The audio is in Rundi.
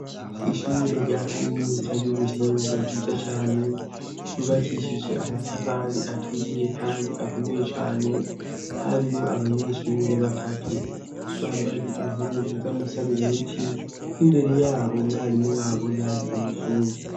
Ishure rya kaminutsa y'ubuhinga ryiza cane yubakishije amatafari aturiye, kandi akomewe cane harimo abanyeshure batatu bambaye inkunzu z'amasarubeti imbere yaho mwarimu wabo yari umuzungu.